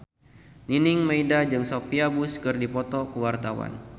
Nining Meida jeung Sophia Bush keur dipoto ku wartawan